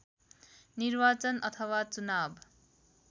निर्वाचन अथवा चुनाव